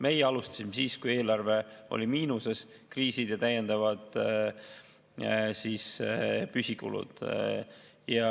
Meie alustasime siis, kui eelarve oli miinuses, olid kriisid ja täiendavad püsikulud.